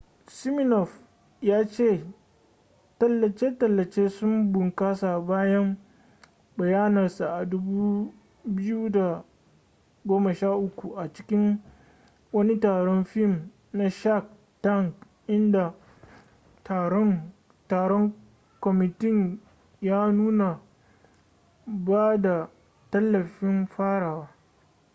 siminoff ya ce tallace-tallace sun bunkasa bayan bayyanarsa a 2013 a cikin wani taron fim na shark tank inda taron kwamitin ya nuna ba da tallafin farawa